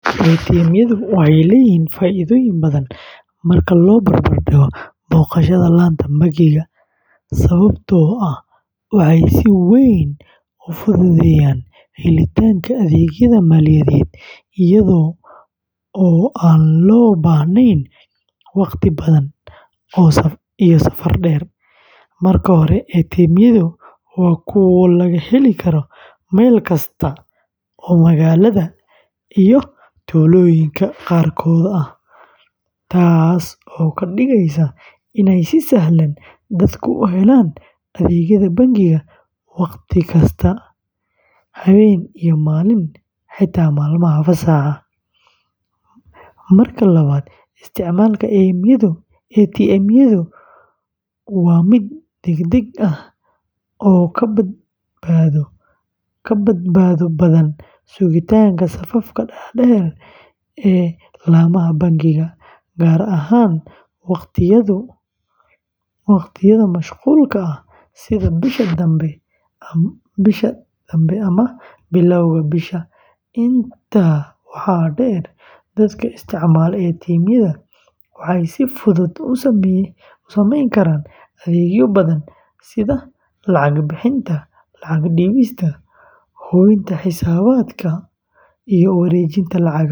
ATM-yadu waxay leeyihiin faa’iidooyin badan marka loo barbar dhigo booqashada laanta bangiga, sababtoo ah waxay si weyn u fududeeyaan helitaanka adeegyada maaliyadeed iyada oo aan loo baahnayn wakhti badan iyo safar dheer. Marka hore, ATM-yadu waa kuwo laga heli karo meel kasta oo magaalada iyo tuulooyinka qaarkood ah, taasoo ka dhigaysa inay si sahlan dadku u helaan adeegyada bangiga wakhti kasta, habeen iyo maalin, xitaa maalmaha fasaxa ah. Marka labaad, isticmaalka ATM-yadu waa mid degdeg ah oo ka badbaado badan sugitaanka safafka dhaadheer ee laamaha bangiga, gaar ahaan waqtiyada mashquulka ah sida bisha dambe ama bilowga bisha. Intaa waxaa dheer, dadka isticmaala ATM-yada waxay si fudud u sameyn karaan adeegyo badan sida lacag bixinta, lacag dhigista, hubinta xisaabaadka, iyo wareejinta lacagaha.